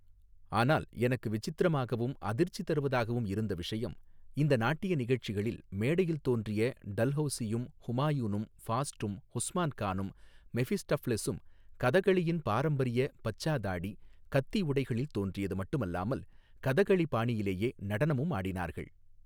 ஆனால் எனக்கு விசித்திரமாகவும் அதிர்ச்சி தருவதாகவும் இருந்த விஷயம் இந்த நாட்டிய நிகழ்ச்சிகளில் மேடையில் தோன்றிய டல்ஹௌசியும் ஹுமாயூனும் ஃபாஸ்ட்டும் உஸ்மான் கானும் மெஃபிஸ்டஃப்லெஸூம் கதகளியின் பாரம்பரிய பச்சா தாடி கத்தி உடைகளில் தோன்றியது மட்டுமல்லாமல் கதகளி பாணியிலேயே நடனமும் ஆடினார்கள்.